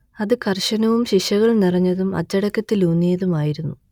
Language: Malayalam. അത് കർശനവും ശിക്ഷകൾ നിറഞ്ഞതും അച്ചടക്കത്തിലൂന്നിയതും ആയിരുന്നു